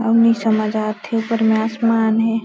अब नई समझ आत हे ऊपर में आसमान हे।